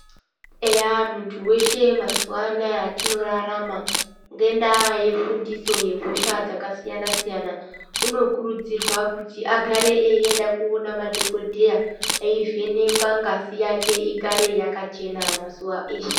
Eya muntu weshe mazuva anaya atinorarama ngendaa yefundiso yehosha dzakasiyana-siyana unokurudzirwa kuti agare eienda koona madhokodheya eivhenekwa ngazi yake igare yakachena mazuva eshe.